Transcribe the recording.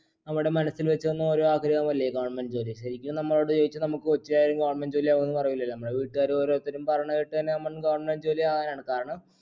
നമ്മുടെ മനസ്സിൽ വെച്ച് തന്ന ഒരാഗ്രഹമല്ലേ government ജോലി ശരിക്കും നമ്മളോട് ചോയ്ച്ചാ നമ്മക്ക് ഒച്ചയായും government ജോലി ആവുംന്ന് പറയില്ലാല്ലോ നമ്മളെ വീട്ടുകാര് ഓരോരുത്തരും പറയണ കേട്ട് തന്നെ നമ്മൾ government ജോലി ആകയാണ് കാരണം